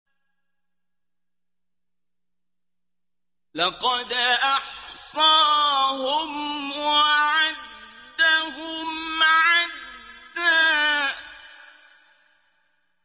لَّقَدْ أَحْصَاهُمْ وَعَدَّهُمْ عَدًّا